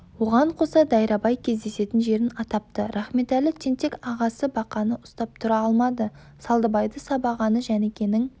оған қоса дайрабай кездесетін жерін атапты рахметәлі тентек ағасы бақаны ұстап тұра алмады салдыбайды сабағаны жәнікенің